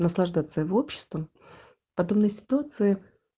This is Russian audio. наслаждаться его обществом в подобной ситуации